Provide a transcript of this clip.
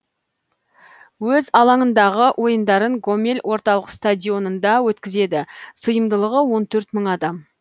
өз алаңындағы ойындарын гомель орталық стадионында өткізеді сыйымдылығы он төрт мың адам